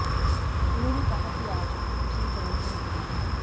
उन्होंने कहा कि आज दूसरे चरण का मतदान है